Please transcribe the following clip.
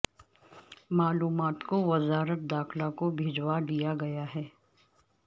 معلومات کو وزارت داخلہ کو بھجوا دیا گیا ہے